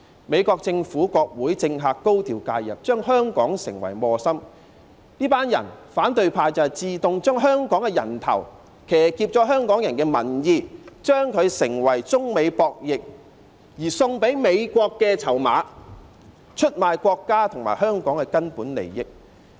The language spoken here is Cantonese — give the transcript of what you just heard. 美國政府、國會和政客高調介入，把香港作為磨心，這些反對派將香港的人頭自動送上，騎劫香港人的民意，將之作為中美博弈中送給美國的籌碼，出賣國家和香港的根本利益。